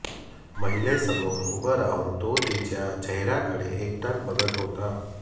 महिलेसमोर उभं राहून तो तिच्या चेहऱ्याकडे एकटक बघत होता